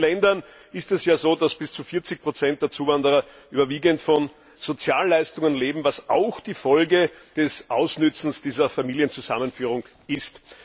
In vielen Ländern ist es ja so, dass bis zu 40 der Zuwanderer überwiegend von Sozialleistungen leben, was auch die Folge des Ausnützens dieser Familienzusammenführung ist.